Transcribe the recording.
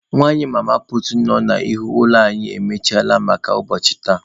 Nwanyị mama puutu nọ n'ihu ụlọ anyị emechiele maka ụbọchị tata.